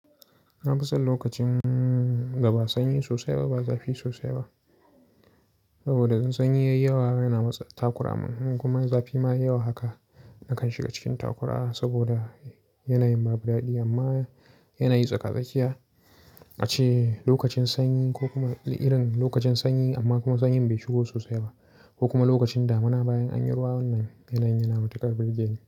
Na fi son lokacin daba sanyi sosai ba zafi sosai ba. Saboda sanyai yawa yana matse takura man kuma zafi ma yawa haka nakan shiga cikin takura saboda yana yin babu daɗi amma yana yi tsaka-tsakiya. A ce lokacin sanyi ko kuma irin lokacin sanyi amma kuma sanyi bai shigo sosai ba ko kuma lokacin damuna bayan anyi ruwa wannan yanayin yana matukar bigeni.